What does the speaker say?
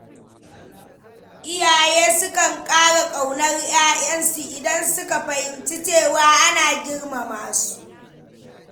Iyaye sukan ƙara ƙaunar yaransu idan suka fahimci cewa ana girmama su.